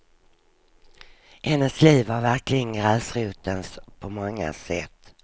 Hennes liv var verkligen gräsrotens på många sätt.